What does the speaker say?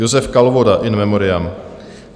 Josef Kalvoda, in memoriam.